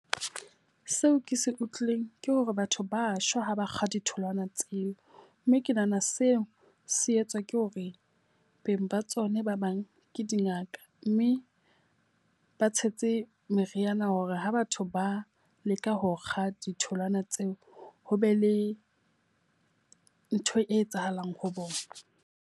Seo ke se utlwileng ke hore batho ba shwa ha ba kga ditholwana tseo. Mme ke nahana seo se etswa ke hore beng ba tsona ba bang ke dingaka mme e ba tshetse meriana hore ha batho ba leka ho kga ditholwana tseo, ho be le ntho e etsahalang ho bona.